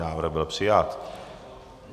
Návrh byl přijat.